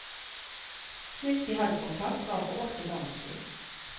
Sist de hadde kontakt var for åtte måneder siden.